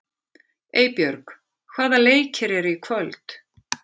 Eybjörg, hvaða leikir eru í kvöld?